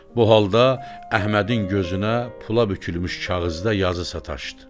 Bu halda Əhmədin gözünə pula bükülmüş kağızda yazı sataşdı.